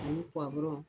Ani